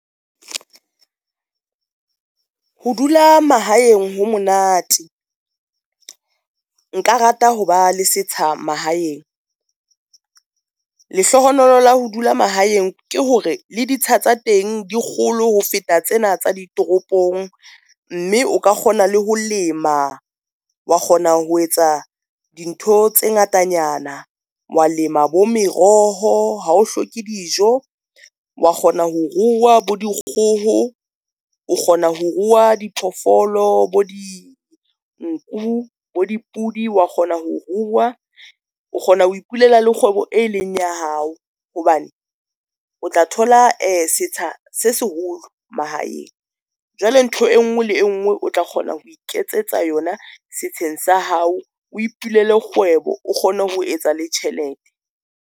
Ho dula mahaeng ho monate. Nka rata ho ba le setsha mahaeng. Lehlohonolo la ho dula mahaeng ke hore le ditsha tsa teng di kgolo ho feta tsena tsa di toropong, mme o ka kgona le ho lema wa kgona ho etsa dintho tse ngatanyana wa lema bo meroho. Ha o hloke dijo, wa kgona ho ruwa bo dikgoho, o kgona ho ruwa diphoofolo, bo di nku, bo dipudi, wa kgona ho ruwa. O kgona ho ipulela le kgwebo e leng ya hao hobane o tla thola setsha se seholo mahaeng. Jwale ntho e ngwe le engwe o tla kgona ho iketsetsa yona setsheng sa hao, o ipulele kgwebo o kgone ho etsa le tjhelete.